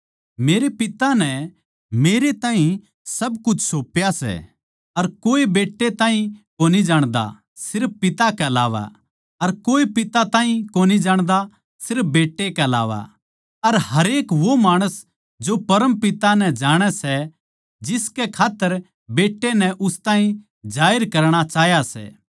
मेरे पिता नै मेरै ताहीं सब कुछ सौप्या सै अर कोए बेट्टै ताहीं कोनी जाण्दा सिर्फ पिता के अलावा अर कोए पिता ताहीं कोनी जाण्दा सिर्फ बेट्टे के अलावा अर हरेक वो माणस जो परम पिता नै जाणे सै जिसकै खात्तर बेट्टा नै उस ताहीं जाहिर करणा चाह्या सै